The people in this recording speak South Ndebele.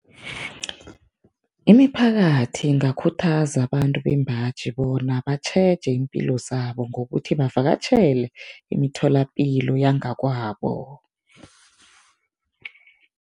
Imiphakathi ingakhuthaza abantu bembaji bona batjheje iimpilo zabo ngokuthi bavakatjhele imitholapilo yangakwabo.